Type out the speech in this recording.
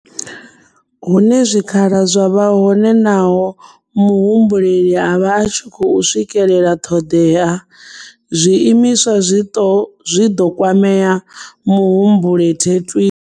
Hune zwikhala zwa vha hone naho muhumbeli a vha a tshi khou swikela ṱhoḓea, zwiimiswa zwi ḓo kwama muhumbeli thwii.